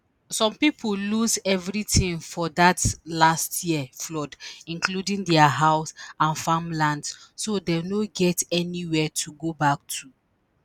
“some pipo lose evritin for dat last year flood including dia house and farmlands so dem no get anywia to go back to. to.